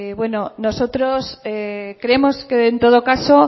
nosotros creemos que en todo caso